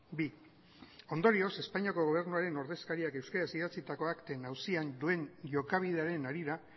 bi ondorioz espainiako gobernuaren ordezkariak euskaraz idatzitako akten auzian duen jokabidearen harira